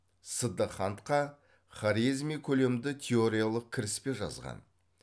сиддыхантха хорезми көлемді теориялық кіріспе жазған